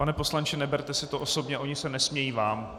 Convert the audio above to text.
Pane poslanče, neberte si to osobně, oni se nesmějí vám.